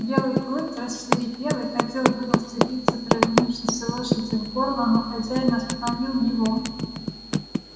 белый клык рассвирепел и хотел было вцепиться провинившейся лошади в горло но хозяин остановил его